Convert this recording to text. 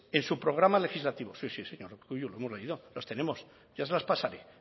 en su programa legislativo sí sí señor urkullu lo hemos leído los tenemos ya se las pasaré